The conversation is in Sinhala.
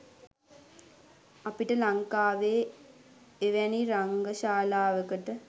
අපිට ලංකාවේ එවැනි රංගශාලාවකට